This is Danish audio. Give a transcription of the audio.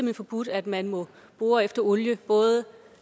har forbudt at man må bore efter olie både